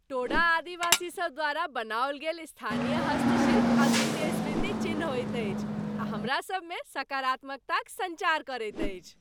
टोडा आदिवासीसभ द्वारा बनाओल गेल स्थानीय हस्तशिल्प अद्वितीय स्मृति चिन्ह होइत अछि आ हमरा सभमे सकारात्मकताक सञ्चार करैत अछि।